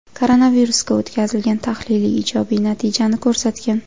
Koronavirusga o‘tkazilgan tahlil ijobiy natijani ko‘rsatgan.